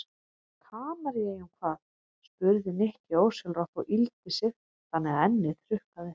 Kanaríeyjum hvað? spurði Nikki ósjálfrátt og yggldi sig þannig að ennið hrukkaðist.